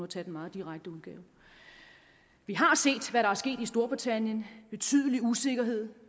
tage en meget direkte udgave vi har set hvad der er sket i storbritannien der betydelig usikkerhed